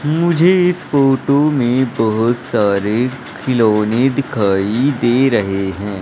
मुझे इस फोटो में बहोत सारे खिलौने दिखाई दे रहे हैं।